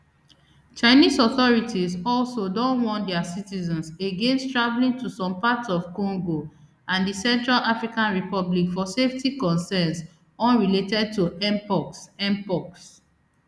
chinese authorities also don warn dia citizens against travelling to some parts of congo and di central african republic for safety concern unrelated to mpox mpox